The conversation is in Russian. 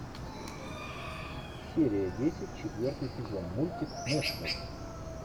серия десять четвертый сезон мультик нэшвилл